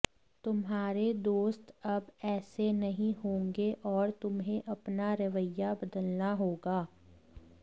तुम्हारे दोस्त अब ऐसे नहीं होंगे और तुम्हें अपना रवैया बदलना होगा